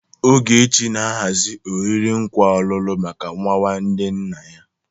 Ogechi na-ahazi oriri nkwa ọlụlụ maka nwa nwanne nna ya.